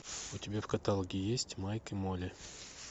у тебя в каталоге есть майк и молли